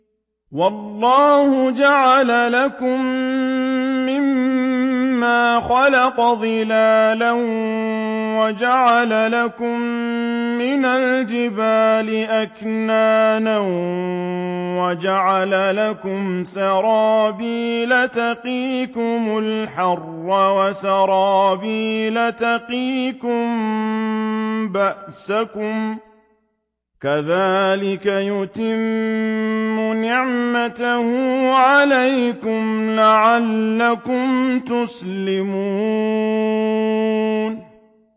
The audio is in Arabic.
وَاللَّهُ جَعَلَ لَكُم مِّمَّا خَلَقَ ظِلَالًا وَجَعَلَ لَكُم مِّنَ الْجِبَالِ أَكْنَانًا وَجَعَلَ لَكُمْ سَرَابِيلَ تَقِيكُمُ الْحَرَّ وَسَرَابِيلَ تَقِيكُم بَأْسَكُمْ ۚ كَذَٰلِكَ يُتِمُّ نِعْمَتَهُ عَلَيْكُمْ لَعَلَّكُمْ تُسْلِمُونَ